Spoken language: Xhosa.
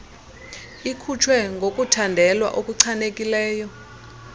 ikhutshwe ngokuthandelwa okuchanekileyo